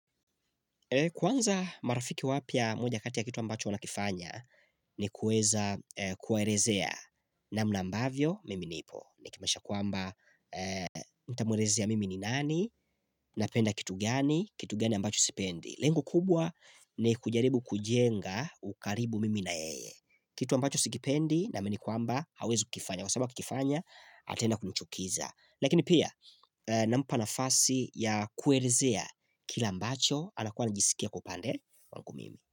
Kwanza marafiki wapya moja kati ya kitu ambacho wana kifanya ni kuweza kuwaelezea namna ambavyo mimi nipo. Nikimaanisha kuamba nitamwelezea mimi ni nani na penda kitu gani, kitu gani ambacho sipendi. Lengo kubwa ni kujaribu kujenga ukaribu mimi na yeye. Kitu ambacho sikipendi naamini kuamba hawezu kifanya. Kwa sababu akiifanya ataenda kumchukiza. Lakini pia nampa nafasi ya kuelezea kila ambacho anakuwa anajisikia kwa upande wangu mimi.